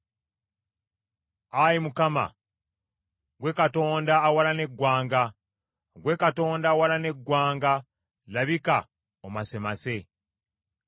Ayi Mukama , ggwe Katonda awalana eggwanga, ggwe Katonda awalana eggwanga, labika omasemase.